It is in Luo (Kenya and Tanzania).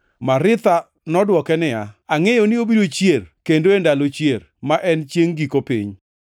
Maritha nodwoke niya, “Angʼeyo ni obiro chier kendo e ndalo chier, ma en chiengʼ giko piny.”